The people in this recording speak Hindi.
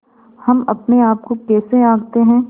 हम अपने आप को कैसे आँकते हैं